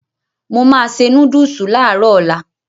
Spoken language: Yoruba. Mo máa se núdùsù láàárọ̀ ọ̀la.